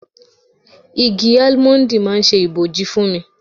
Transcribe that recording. Igi Álímọ́ńdì máa ń ṣe ibòji fún mi.